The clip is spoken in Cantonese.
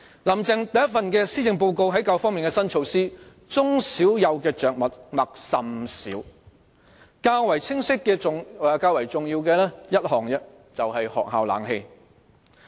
"林鄭"第一份施政報告在教育方面的新措施對中小幼的着墨甚少，較為清晰和重要的只有一項，就是學校的空調設備。